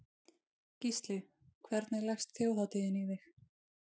Gísli: Hvernig leggst Þjóðhátíðin í þig?